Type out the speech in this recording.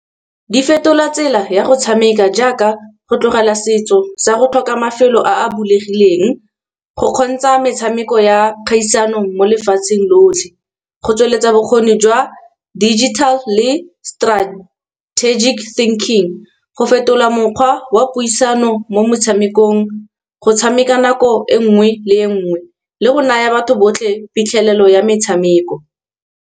Di fetola tsela ya go tshameka jaaka go tlogela setso sa go tlhoka mafelo a a bulegileng. Go kgontsha metshameko ya kgaisano mo lefatsheng lotlhe, go tsweletsa bokgoni jwa digital le strategic thinking, go fetola mokgwa wa puisano mo metshamekong go tshameka nako e nngwe le nngwe, le go naya batho botlhe phitlhelelo ya metshameko.